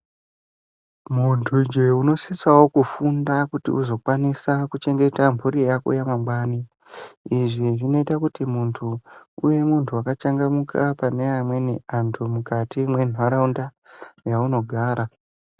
Muntu njee unosisawo kufunda kuti uzokwanisa kuchengeta mhuri yako yamangwani. Izvi zvinoita kuti muntu uve muntu akachangamuka pane amweni antu mukati mwenharaunda yaunogara.